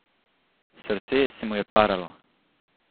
Srce se mu je paralo.